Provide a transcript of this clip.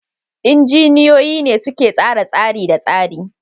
Injiniyoyin ne suka tsara tsari da tsari.